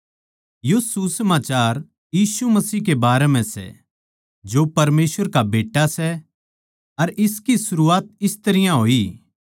यो सुसमाचार यीशु मसीह के बारें म्ह सै जो परमेसवर का बेट्टा सै अर सुसमाचार की सरूआत इस तरियां होई